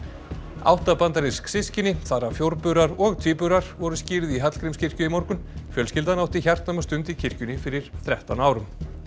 átta bandarísk systkini þar af og tvíburar voru skírð í Hallgrímskirkju í morgun fjölskyldan átti hjartnæma stund í kirkjunni fyrir þrettán árum